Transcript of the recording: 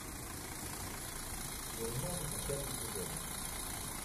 гурман десятый сезон